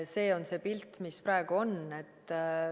See on see pilt, mis praegu on.